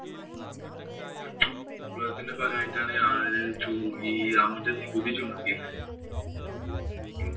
വിപ്ലവത്തിന്‍റെ ഫലായിട്ട് ഈ ഈ അമിത നികുതി ചുമത്തിയില്ലേ?